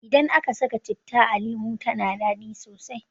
Idan aka saka citta a lemu tana dadi sosai